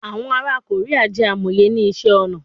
Awọn ara Korea jẹ amoye ni iṣẹ-ọnà